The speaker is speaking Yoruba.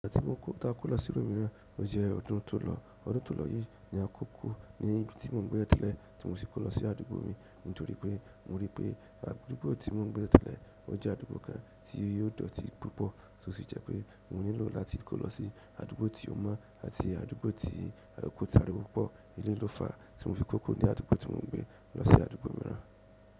Ìgbàtí mo kó, ta kó lọ sí ìlú mìíràn, ó jẹ́ ọdún tó lọ. Ọdún tó lọ yìí ni akó kúrò ní ibi tí mò ń gbé tẹ́lẹ̀tẹ́lẹ̀ tí mo sì kó lọ sí àdúgbò míì nítorí pé mo rí pé àdúgbò tí mo ń gbé tẹ́lẹ̀tẹ́lẹ̀ ó jẹ́ àdúgbò kan tí ó dọ̀tí púpọ̀. Ó sì jẹ́ pé mo nílò láti kó lọ sí àdúgbò tí ó mọ́ àti àdúgbò tí kò sáriwo púpọ̀, eléyìí ló fà á tí mo fi kó kúrò ní àdúgbò tí mò ń gbé lọ sí àdúgbò mìíràn.